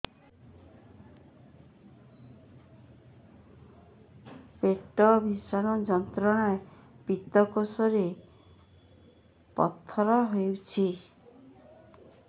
ପେଟ ଭୀଷଣ ଯନ୍ତ୍ରଣା ପିତକୋଷ ରେ ପଥର ହେଇଚି